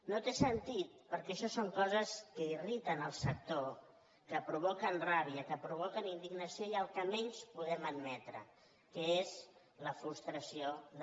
no té sentit perquè això són coses que irriten el sector que provoquen ràbia que provoquen indignació i el que menys podem admetre que és la frustració de molta gent